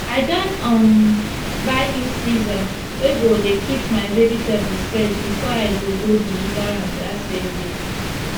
i don um buy new freezer wey go dey keep my vegetable fresh before i go go deliver am dat same day